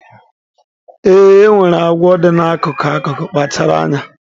Ee, e nwere agwọ dị n'akụkụ akụkụ, kpachara anya.